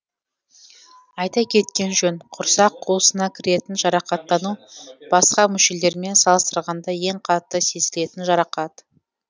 айта кеткен жөн құрсақ қуысына кіретін жарақаттану басқа мүшелермен салыстырғанда ең қатты сезілетін жарақат